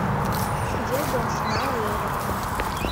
дерби арсенала и эвертона